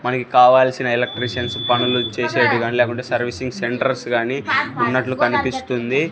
మనకి కావాల్సిన ఎలక్ట్రిషన్స్ పనులు చేసేది గాని లేకపోతే సర్వీసింగ్ సెంటర్స్ గానీ ఉన్నట్లు కనిపిస్తుంది.